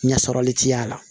Ɲɛ sɔrɔli ti y'a la